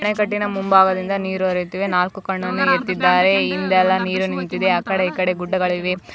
ನಾಡಿನ ಮುಂಭಾಗದಿಂದ ನೀರು ನಾಲ್ಕು ಕಣದಲ್ಲಿದ್ದಾರೆ ಇಂದಲ್ಲ ನೀರು ನಿಂತಿದೆ ಯಾಕಡೆ ಗುಣಗಳಿವೆ .